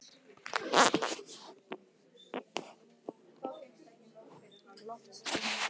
Samkvæmt þessu er þingi í sjálfsvald sett hvort það vísar máli til nefndar.